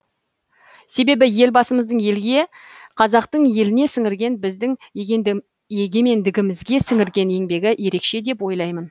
себебі елбасымыздың елге қазақтың еліне сіңірген біздің егемендігімізге сіңірген еңбегі ерекше деп ойлаймын